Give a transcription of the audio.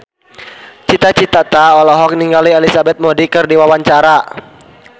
Cita Citata olohok ningali Elizabeth Moody keur diwawancara